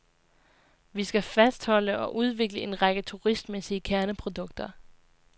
Vi skal fastholde og udvikle en række turistmæssige kerneprodukter.